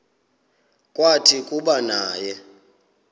kwathi kuba naye